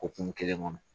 Okumu kelen kɔnɔ